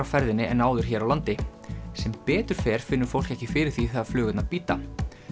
ferðinni en áður hér á landi sem betur fer finnur fólk ekki fyrir því þegar flugurnar bíta